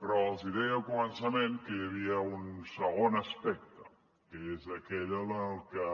però els deia al començament que hi havia un segon aspecte que és aquell en què